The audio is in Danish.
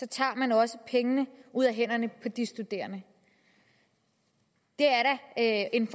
tager man også pengene ud af hænderne på de studerende det er da en